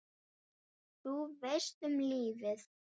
Þú veist, um lífið?